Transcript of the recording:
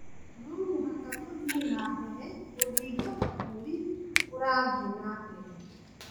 No mũhaka tũthiĩ na mbere gũthingata bũrũri ũrathiĩ na mbere.